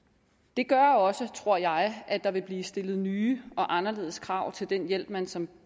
det gør også tror jeg at der vil blive stillet nye og anderledes krav til den hjælp man som